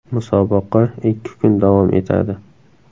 Musobaqa ikki kun davom etadi.